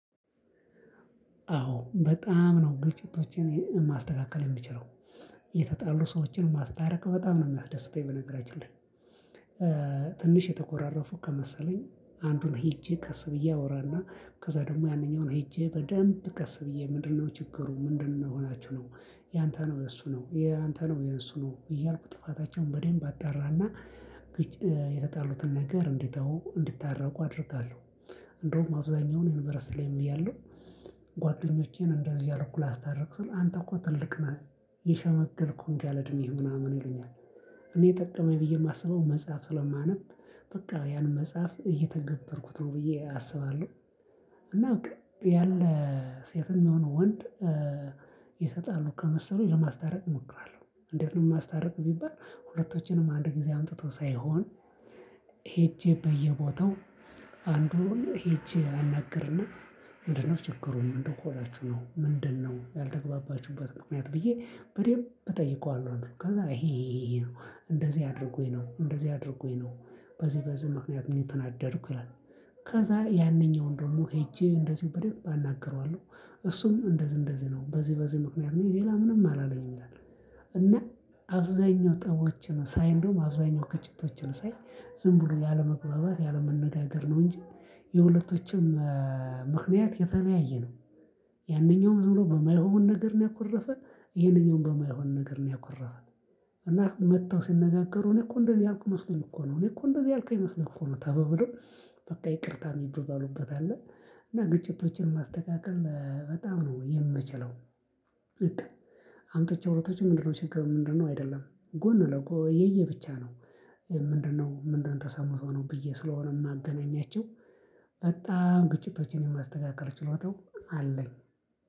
አዎ በጣም ነው ግጭቶችን ማስተካከል የምችለው የተጣሉ ሰዎችን ማስታረቅ በጣም ነው የሚያስደስተኝ በነገራችን ላይ። ትንሽ የትኮራረፉ ከመሰለኝ አንዱን ሄጀ ቀስ ብየ አዎራና ከዛ ደግሞ ያንኛውን ሄጀ በደንብ ቀስ ብየ ምንድን ነው ችግሩ ምንድን ሆናችሁ ነው ያንተ ነው የሱ ነው ያንተ ነው የሱ ነው እያልኩ ጥፋታቸውን በደንብ አጣራና የተጣሉትን ነገር እንዲተው እንድታረቁ አድርጋለሁ። እንዲሁም አብዛኛውን ዩኒቨርሲቲ ላይም እያለሁ ጓደኞቼን እንደዚህ እያልኩ ላስታርቅ ስል አንተ እኮ ትልቅ ነህ የሸመገልክ ሆንክ ያለ እድሜህ ምናምን ይሉኛል። እኔ የጠቀመኝ ብዬ የማስበው መጽሐፍ ስለማንብ በቃ ያን መጽሐፍ እየተገበርኩት ነው ብዬ አስባለሁ። እና በቃ ያለ ሴትም ይሁን ወንድ ይተጣሉ ከመሰሉኝ ልማስታረቅ እሞክራለሁ። እንዴት? ነው የማስታረቅ ቢባል ሁለቶችንም አንድ ጊዜ አምጥቶ ሳይሆን ሄጄ በየቦታው አንዱን ሄጄ አናግርና ምንድን ነው ችግሩን ምንድን ሆናችሁ ነው ምንድነው ያልተግባባችሁበት ምክንያት ብዬ በደንብ እጠይቀዋለሁ። ከዛ ይሄ ይሄ ነው እንደዚህ አድርጎኝ ነው እንደዚህ አድርጎኝ ነው በዚህ በዚህ ምክንያት ነው የተናደድኩ ይላል። ከዛ ያንኛውን ደግሞ ሄጄ እንደዚህ በደንብ አናግረዋለሁ እሱም እንደዚህ እንደዚህ ነው በዚህ በዚህ ምክንያት ነው ሌላ ምንም አላለኝም ይላል። እና አብዛኛው ጠቦችን ሳይ እንደውም አብዛኛው ግጭቶችን ሳይ ዝም ብሎ ያለመግባባት ያለመነጋገር ነው። እንጂ የሁለቶችም ምክንያት የተለያየ ነው። ያንኛውም ዝም ብሎ በማይሆን ነገር ነው ያኮረፈ ይሄንኛውም በማይሆን ነገር ነው ያኮረፈ። እና መጥተው ሲነጋገሩ እኔ እኮ እንደዚህ ያልኩህ መስሎኝ እኮ ነው እኔ እኮ እንደዚያ ያልከኝ መስሎኝ እኮ ነው ተባብለው በቃ ይቅርታ የሚባባሉበት አለ። እና ግጭቶችን ማስተካከል በጣም ነው የምችለው። በቃ አምጥቼ ሁለቶችን ምንድነው ችግሩ ምንድነው አይደለም ጎን ለጎ የየ ብቻ ነው። ምንድነው ምንድነው ተሰምቶ ነው ብዬ ስለሆነ የማገናኛቸው። በጣም ግጭቶችን የማስተካከል ችሎታው አለኝ።